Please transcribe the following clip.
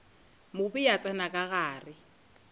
mobe a tsena ka gare